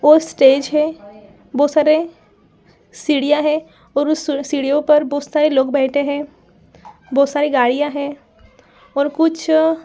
वो स्टेज है बहुत सारे सीड़ियाँ है और उस सु सीढ़ियों पर बहुत सारे लोग बैठे है। बहुत सारी गाड़ियां है और कुछ --